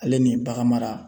Ale ni bagan mara